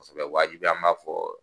waajibi an b'a fɔ